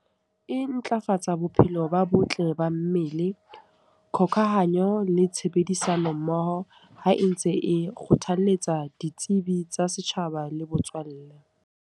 E ntlafatsa bophelo ba botle ba mmele, kgokahanyo le tshebedisano mmoho. Ha e ntse e kgothalletsa ditsebi tsa setjhaba le botswalle.